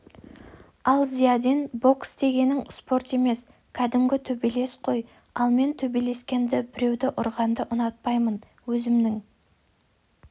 ал зиядин бокс дегенің спорт емес кәдімгі төбелес қой ал мен төбелескенді біреуді ұрғанды ұнатпаймын өзімнің